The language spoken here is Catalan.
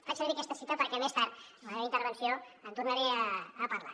faig servir aquesta citació perquè més tard en la meva intervenció en tornaré a parlar